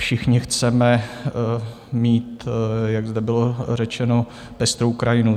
Všichni chceme mít, jak zde bylo řečeno, pestrou krajinu.